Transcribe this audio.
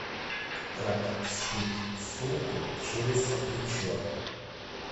как сшить сумку через плечо